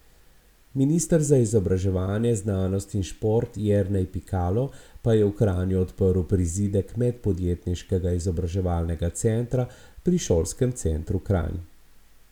Minister za izobraževanje, znanost in šport Jernej Pikalo pa je v Kranju odprl prizidek Medpodjetniškega izobraževalnega centra pri Šolskem centru Kranj.